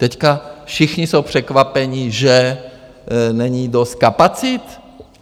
Teďka všichni jsou překvapeni, že není dost kapacit?